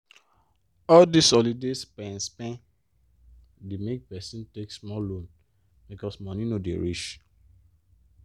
all dis holiday spend-spend dey make person wan take small loan because money no dey reach.